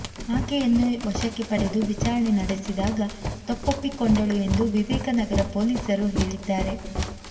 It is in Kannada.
ಆಕೆಯನ್ನು ವಶಕ್ಕೆ ಪಡೆದು ವಿಚಾರಣೆ ನಡೆಸಿದಾಗ ತಪ್ಪೊಪ್ಪಿಕೊಂಡಳು ಎಂದು ವಿವೇಕನಗರ ಪೊಲೀಸರು ಹೇಳಿದ್ದಾರೆ